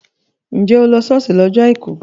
Njẹ́ o lọ ṣọ́ọ̀ṣì lọ́jọ́ àìkú?